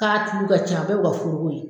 K'a tulu ka ca a bɛ bi kɛ foroko ye